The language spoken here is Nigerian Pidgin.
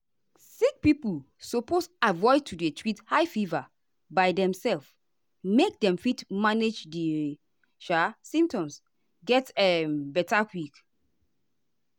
sick pipo suppose avoid to dey treat high fever by demself make dem fit manage di sha symptoms get um beta quick.